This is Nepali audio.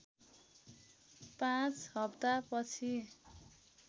५ हप्ता पछि